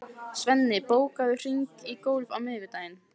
Svenni, bókaðu hring í golf á miðvikudaginn.